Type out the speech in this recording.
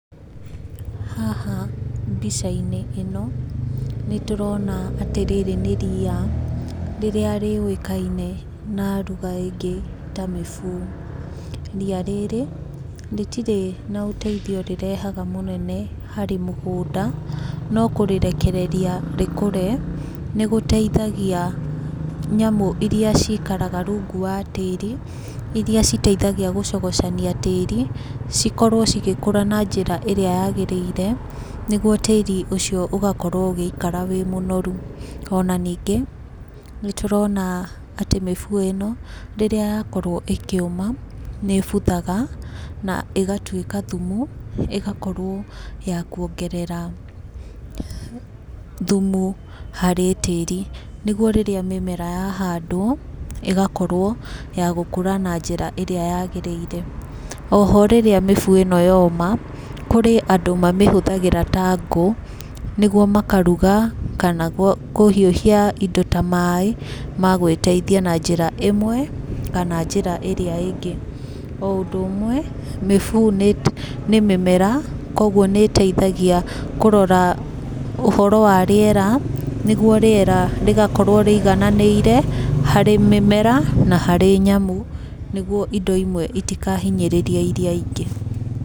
Haha mbica-inĩ ino nĩ tũrona atĩ rĩrĩ nĩ ria rĩrĩa rĩoĩkaine na lugha ĩngĩ ta mĩbũũ. Ria rĩrĩ rĩtirĩ naũteithio mũnene rĩrehaga harĩ mũgũnda no kũrĩrekereria rĩkũre nĩ gũteithagia nyamũ iria ciikaraga rungu wa tĩiri iria citeithagia gũcogocania tĩiri cikorwo cigĩkũra na njĩra ĩrĩa yagĩrĩire nĩgũo tĩiri ũcio ũgakorwo ũgĩikara ũrĩ mũnoru. Ona nĩngĩ nĩ tũrona atĩ mĩbũũ ĩno rĩrĩa yakorwo ĩkĩuma nĩ ĩbũthaga na ĩgatũĩka thumu ĩgakorwo ya kũongerera thumu harĩ tĩiri nĩgũo rĩrĩa mĩmera yahandwo ĩgakorwo ya gũkũra na njĩra ĩrĩa yagĩrĩire. Oho rĩrĩa mĩbũũ ĩno yoma kũrĩ andũ mamĩhũthagĩra ta nguu nĩgũo makaruga kana kũhĩũhia indo ta maaĩ magwĩteithia na njĩra imwe kana njĩra ĩrĩa ingĩ. O ũndũ ũmwe mĩbũũ nĩ mĩmera kogũo nĩ ĩteithagia kũrora ũhoro wa rĩera nĩgũo rĩera rĩgakorwo rĩigananĩire harĩ mĩmera na harĩ nyamũ nĩgũo indo imwe itakahinyĩrĩrĩe irĩa ĩngĩ.